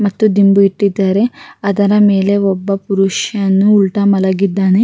ಮತ್ತು ದಿಂಬು ಇಟ್ಟಿದಾರೆ ಅದರ ಮೇಲೆ ಒಬ್ಬ ಪುರುಷನು ಉಲ್ಟಾ ಮಲಗಿದ್ದಾನೆ.